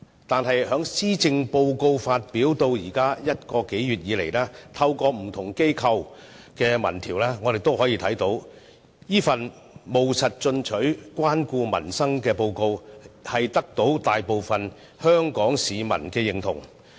但是，施政報告發表至今一個月來，透過不同機構舉辦的民調可見，這份務實進取，關顧民生的報告，獲大部分香港市民的認同。